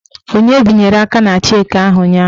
Onye binyere aka na cheki ahụ ụnyaahụ?